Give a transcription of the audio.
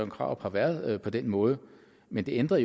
krarup har været på den måde men det ændrer